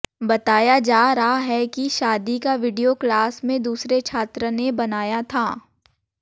बताया जा रहा है कि शादी का वीडियो क्लास में दूसरे छात्र ने बनाया था